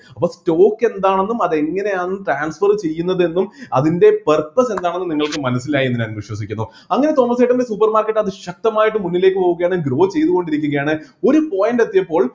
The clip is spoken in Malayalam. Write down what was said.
അപ്പൊ stock എന്താണെന്നും അത് എങ്ങനെയാണ് transfer ചെയ്യുന്നതെന്നും അതിൻ്റെ purpose എന്താണെന്നും നിങ്ങൾക്ക് മനസ്സിലായി എന്ന് ഞാൻ വിശ്വസിക്കുന്നു അങ്ങനെ തോമസ് ചേട്ടൻ്റെ supermarket അതിശക്തമായിട്ട് മുന്നിലേക്ക് പോകുകയാണ് grow ചെയ്‌തു കൊണ്ടിരിക്കുകയാണ് ഒരു point എത്തിയപ്പോൾ